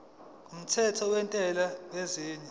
kumthetho wentela yengeniso